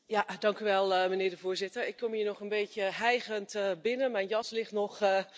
Voorzitter, ik kom hier nog een beetje hijgend binnen, mijn jas ligt nog naast me.